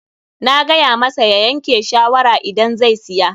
Na gaya masa ya yanke shawara idan zai siya.